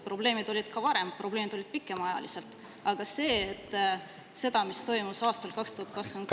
Probleemid olid ka varem, probleemid olid pikemaajaliselt, aga see, mis toimus aastal 2023 …